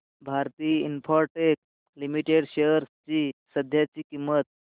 Bharti Infratel limited shares ची सध्याची किंमत